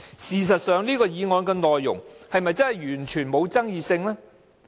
事實上，附屬法例的內容是否完全沒有爭議性？